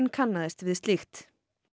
kannaðist við slíkt